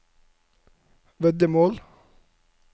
veddemål